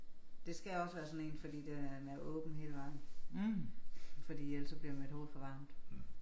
Det skal også være sådan en fordi den er åben hele vejen. Fordi ellers så bliver mit hoved for varmt